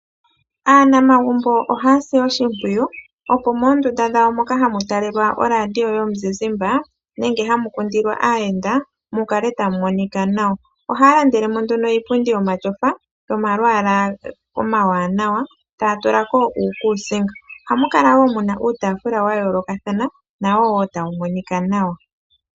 Aanamagumbo ohaya si oshimpwiyu opo moondunda dhawo moka hamu talelwa oradio yomuzizimbe nenge hamu kundilwa aayenda mukale tamu monika nawa. Ohaya landele mo nduno iipundi yomatyofa yomalwaala omawanawa, taya yula ko uukuusinga, ohamu kala wo mu na uutafula wa yoolokathana nawo wo tawu monika nawa.